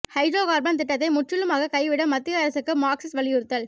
hydro carbon திட்டத்தை முற்றிலுமாக கைவிட மத்திய அரசுக்கு மார்க்சிஸ்ட் வலியுறுத்தல்